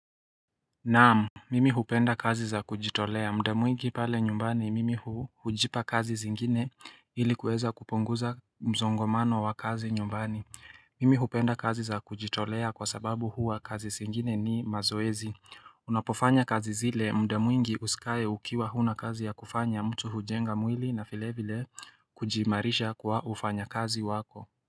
Naam, mimi hupenda kazi za kujitolea, muda mwingi pale nyumbani mimi hujipa kazi zingine ili kuweza kupunguza mzongomano wa kazi nyumbani Mimi hupenda kazi za kujitolea kwa sababu huwa kazi zingine ni mazoezi Unapofanya kazi zile, mda mwingi usikae ukiwa huna kazi ya kufanya, mtu hujenga mwili na vile vile kujiimarisha kwa ufanya kazi wako.